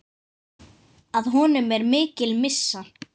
Að honum er mikil missa.